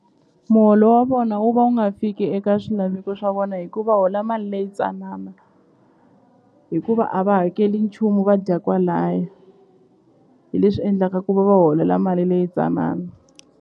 Muholo wa vona wu va wu nga fiki eka swilaveko swa vona hi ku hola mali leyi tsanana hikuva a va hakeli nchumu va dya kwalaya hi leswi endlaka ku va va holela mali leyi tsanana.